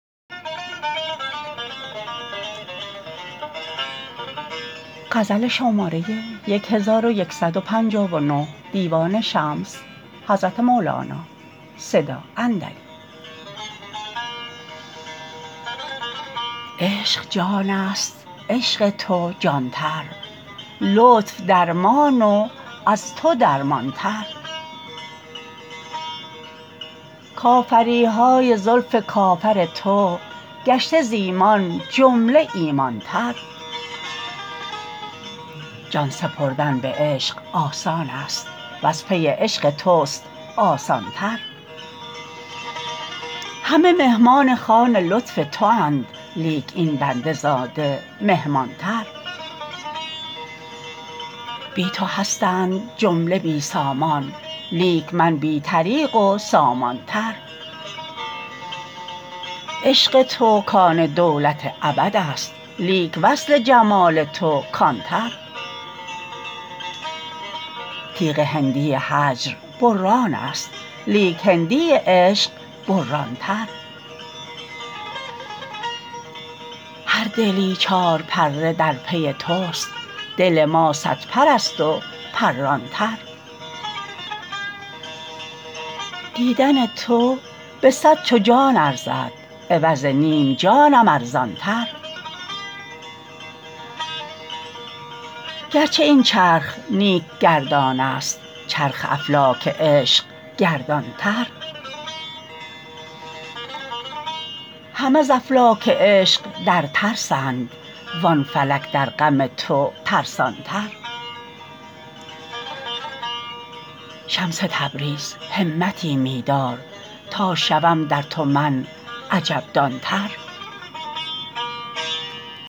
عشق جانست عشق تو جان تر لطف درمان و از تو درمان تر کافری های زلف کافر تو گشته ز ایمان جمله ایمان تر جان سپردن به عشق آسانست وز پی عشق توست آسان تر همه مهمان خوان لطف تواند لیک این بنده زاده مهمان تر بی تو هستند جمله بی سامان لیک من بی طریق و سامان تر عشق تو کان دولت ابدست لیک وصل جمال تو کان تر تیغ هندی هجر برانست لیک هندی عشق بران تر هر دلی چارپره در پی توست دل ما صدپرست و پران تر دیدن تو به صد چو جان ارزان عوض نیم جانم ارزان تر گرچه این چرخ نیک گردانست چرخ افلاک عشق گردان تر همه ز افلاک عشق در ترسند وان فلک در غم تو ترسان تر شمس تبریز همتی می دار تا شوم در تو من عجب دان تر